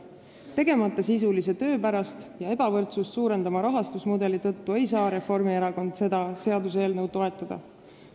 Tegemata sisulise töö pärast ja ebavõrdsust suurendava rahastusmudeli tõttu ei saa Reformierakond seda seaduseelnõu toetada.